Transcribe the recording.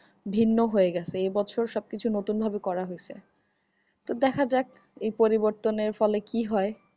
ভিন্ন হয়ে গেছে এ বছর সব কিছু নতুন ভাবে করা হয়েছে। তো দেখা যাক এই পরিবর্তন এর ফলে কি হয়?